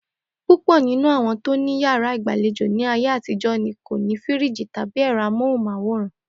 Púpò̩ nínú àwo̩n tó ní yàrá ìgbàlejò ní ayé àtijó̩ ni kò ní fíríìjì tàbí è̩ro̩ amóhùn-máwòrán